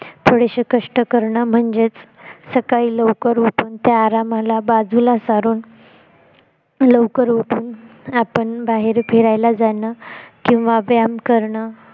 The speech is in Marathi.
थोडेसे कष्ट करणे म्हणजेच सकाळी लवकर उठून त्या आरामाला बाजूला सारून लवकर उठून आपण बाहेर फिरायला जाणं किंवा व्यायाम करणं